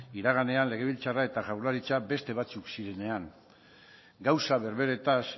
iraganean legebiltzarra eta jaurlaritza beste batzuk zirenean gauza berberetaz